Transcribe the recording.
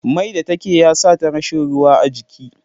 Mai da take ya sata rashi ruwa a jiki